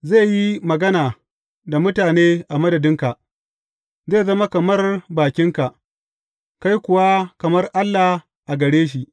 Zai yi magana da mutane a madadinka, zai zama kamar bakinka, kai kuwa kamar Allah a gare shi.